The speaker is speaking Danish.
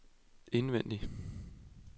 indvendig